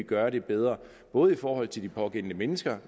gøre det bedre både i forhold til de pågældende mennesker